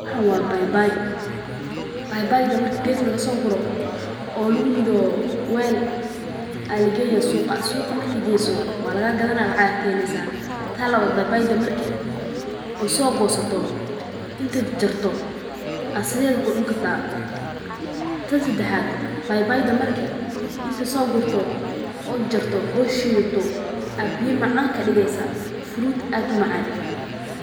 Waxan waa babay babaydha marka geed lagusooguro oo laguridho waal aaa lageyna suuqa suuqa markad geyso waa lagagadhana lacag ayaa kaheleysa. Tan labaad babayda marka ad soo goosato intad jajarto aa sidheedha kucuni kartaa. Tan sedaxad babayda marki inti soogurto oo jajarto oo shiidhato aa biya macaan kadigeysa fruit aad umacaan.